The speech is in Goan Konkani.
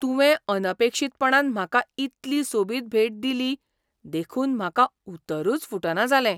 तुवें अनपेक्षीतपणान म्हाका इतली सोबीत भेट दिली देखून म्हाका उतरूच फुटना जालें.